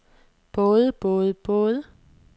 både både både